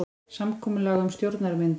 Samkomulag um stjórnarmyndun